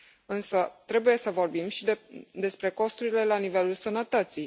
Însă trebuie să vorbim și despre costurile la nivelul sănătății.